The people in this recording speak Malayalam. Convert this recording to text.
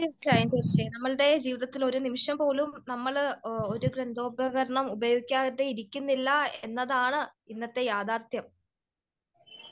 നമ്മളുടെ ജീവിതത്തിൽ ഒരു നിമിഷം പോലും ഒരു ഒരു യന്ത്ര ഉപകരണം ഉപയോഗിക്കാതിരിക്കുന്നില്ല എന്നതാണ് ഇന്നത്തെ യാഥാർഥ്യം.